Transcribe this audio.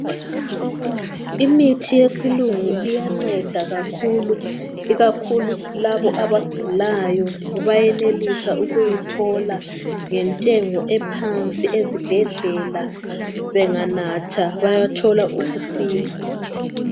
Imithi yesilungu iyanceda kakhulu ikakhulu labo abagulayo bayenelisa uyithola ngentengo ephansi ezibhedlela benganatha bayathola ukusila.